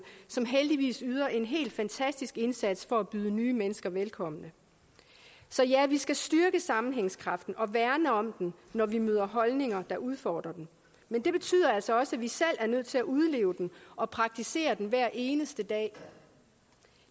som heldigvis yder en helt fantastisk indsats for at byde nye mennesker velkommen så ja vi skal styrke sammenhængskraften og værne om den når vi møder holdninger der udfordrer den men det betyder altså også at vi selv er nødt til at udleve den og praktisere den hver eneste dag